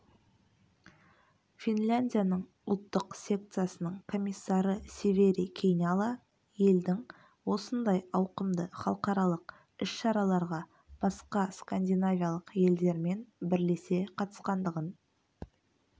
финляндияның ұлттық секциясының комиссары севери кейняла елдің осындай ауқымды халықаралық іс-шараларға басқа скандинавиялық елдермен бірлесе қатысқандығын